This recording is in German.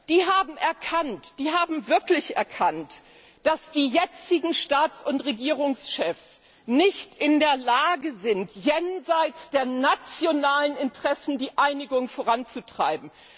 Die haben erkannt, wirklich erkannt, dass die jetzigen Staats und Regierungschefs nicht in der Lage sind, jenseits der nationalen Interessen die Einigung voranzutreiben.